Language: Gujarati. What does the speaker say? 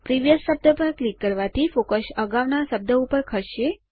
પ્રિવિયસ શબ્દ પર ક્લિક કરવાથી ફોકસ અગાઉ ના શબ્દ ઉપર ખસશે